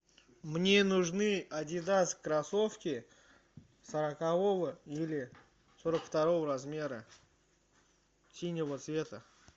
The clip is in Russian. мне нужны адидас кроссовки сорокового или сорок второго размера синего цвета